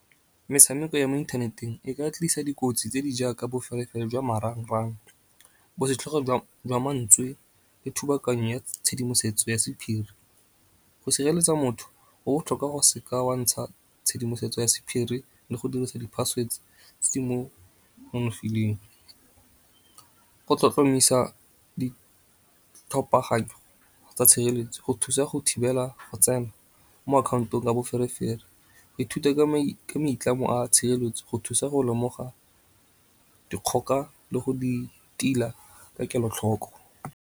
Metshameko ya mo inthaneteng e ka tlisa dikotsi tse di jaaka boferefere jwa marangrang, bosetlhogo jwa mantswe le thubakanyo ya tshedimosetso ya sephiri. Go sireletsa motho go botlhokwa go se ka wa ntsha tshedimosetso ya sephiri le go dirisa di-password tse nonofileng. Go tlhotlhomisa ditlhopaganyo tsa tshireletso go thusa go thibela go tsena mo akhaontong ka boferefere. Go ithuta ka maitlamo a tshireletso go thusa go lemoga dikgoka le go di tila ka kelotlhoko.